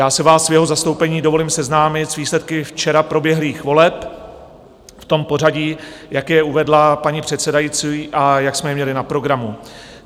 Já si vás v jeho zastoupení dovolím seznámit s výsledky včera proběhlých voleb v tom pořadí, jak je uvedla paní předsedající a jak jsme je měli na programu.